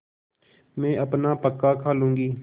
मैं अपना पकाखा लूँगी